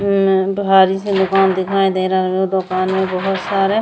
म् भारी से दोकान दिखाई दे रहल ब्। दोकान में बोहोत सारे --